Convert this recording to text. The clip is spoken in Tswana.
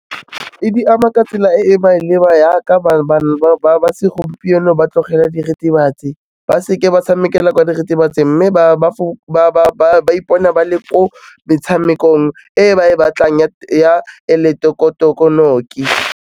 E di ama ka tsela e e maleba ya ka bana ba segompieno ba tlogela diritibatsi ba seke ba tshamekela kwa diritibatsing, mme ba ipona ba le ko metshamekong e ba e batlang ya eleketoronoki.